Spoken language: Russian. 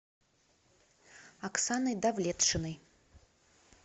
оксаной давлетшиной